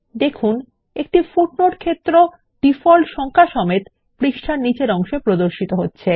দেখুন পৃষ্টার শেষে একটি পাদটীকা যোগ একটি সাংখিক মান রয়েছে